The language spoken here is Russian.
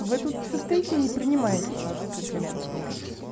вы тут все стоите и не принимаете комплименты никакие